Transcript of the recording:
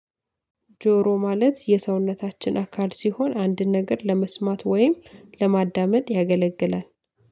ጆሮ ማለት የሰውነታችን አካል ሲሆን አንድን ነገር ለመስማት ወይም ለማዳመጥ ያገለግላል